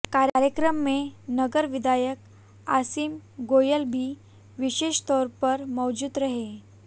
कार्यक्रम में नगर विधायक असीम गोयल भी विशेषतौर पर मौजूद रहे